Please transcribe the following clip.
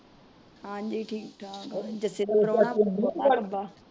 ਹਾਂਜੀ ਠੀਕ ਠਾਕ,